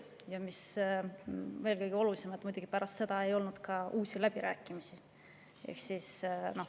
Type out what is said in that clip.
Ja mis kõige olulisem, pärast seda ei olnud muidugi ka uusi läbirääkimisi.